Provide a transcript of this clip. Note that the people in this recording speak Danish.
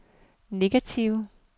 negative